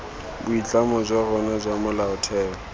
boitlamo jwa rona jwa molaotheo